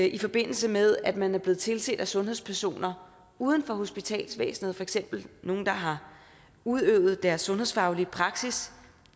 i forbindelse med at man er blevet tilset af sundhedspersoner uden for hospitalsvæsenet for eksempel nogle der har udøvet deres sundhedsfaglige praksis